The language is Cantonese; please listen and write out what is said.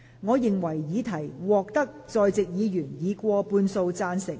我認為議題獲得在席議員以過半數贊成。